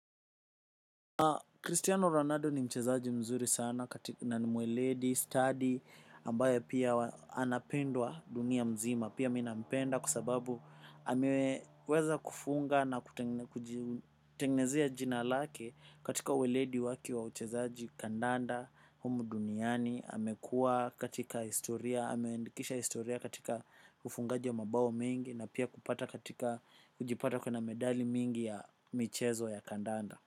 Cristiano Ronaldo ni mchezaji mzuri sana na ni mweledi, study, ambaye pia anapendwa dunia mzima, pia mi napenda kwa sababu ameweza kufunga na kutengenezea jina lake katika uweledi wake wa uchezaji kandanda, humu duniani, amekuwa katika historia, ameendikisha historia katika ufungaji ya mabao mengi na pia kupata katika kujipata akona medali mingi ya michezo ya kandanda.